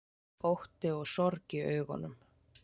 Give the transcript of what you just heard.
Ótti og sorg í augunum.